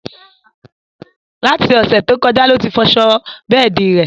Láti Òsẹ̀ to kọjá lo tí fọ aṣọ bẹ́ẹ̀di rẹ̀